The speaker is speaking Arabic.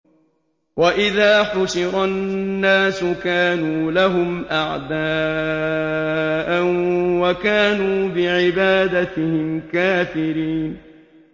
وَإِذَا حُشِرَ النَّاسُ كَانُوا لَهُمْ أَعْدَاءً وَكَانُوا بِعِبَادَتِهِمْ كَافِرِينَ